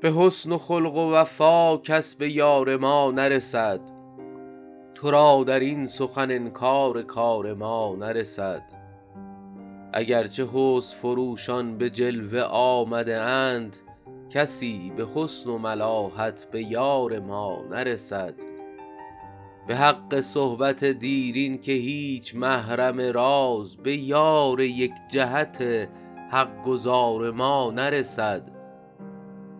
به حسن و خلق و وفا کس به یار ما نرسد تو را در این سخن انکار کار ما نرسد اگر چه حسن فروشان به جلوه آمده اند کسی به حسن و ملاحت به یار ما نرسد به حق صحبت دیرین که هیچ محرم راز به یار یک جهت حق گزار ما نرسد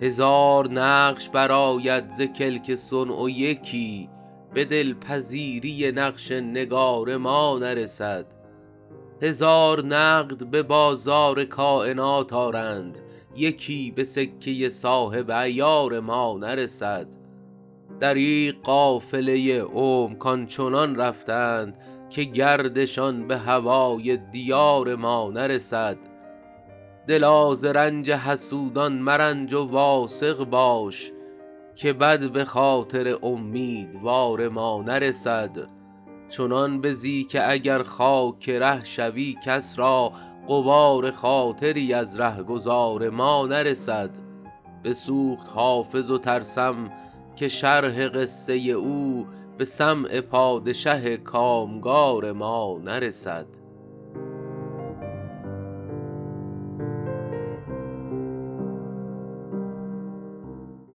هزار نقش برآید ز کلک صنع و یکی به دل پذیری نقش نگار ما نرسد هزار نقد به بازار کاینات آرند یکی به سکه صاحب عیار ما نرسد دریغ قافله عمر کآن چنان رفتند که گردشان به هوای دیار ما نرسد دلا ز رنج حسودان مرنج و واثق باش که بد به خاطر امیدوار ما نرسد چنان بزی که اگر خاک ره شوی کس را غبار خاطری از ره گذار ما نرسد بسوخت حافظ و ترسم که شرح قصه او به سمع پادشه کام گار ما نرسد